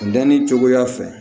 Danni cogoya fɛ